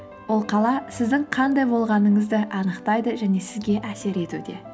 ол қала сіздің қандай болғаныңызды анықтайды және сізге әсер етуде